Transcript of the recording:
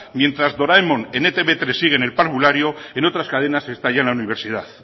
mientras doraemon en etb hiru sigue en el parvulario en otras cadenas está ya en la universidad